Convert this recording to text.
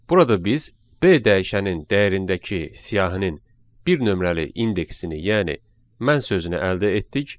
Burada biz B dəyişənin dəyərindəki siyahının bir nömrəli indeksini, yəni mən sözünü əldə etdik.